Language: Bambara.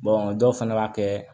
dɔw fana b'a kɛ